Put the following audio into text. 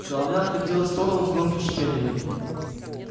головня откатилась в сторону с громким шипением